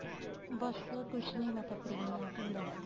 ਬੱਸ ਕੁੱਝ ਨੀਂ ਮੈਂ ਤਾਂ free ਆ ਤੂੰ ਦਸ